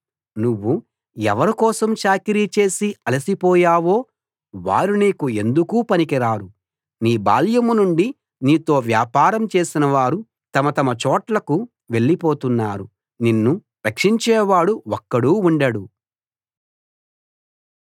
నువ్వు ఎవరికోసం చాకిరీ చేసి అలసిపోయావో వారు నీకు ఎందుకూ పనికిరారు నీ బాల్యం నుండి నీతో వ్యాపారం చేసినవారు తమ తమ చోట్లకు వెళ్లిపోతున్నారు నిన్ను రక్షించేవాడు ఒక్కడూ ఉండడు